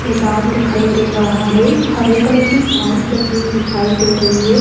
मैदान दिखाई दे हरे कलर की घास लगी हुई दिखाई दे रही है।